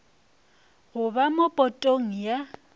go ba mo potong ya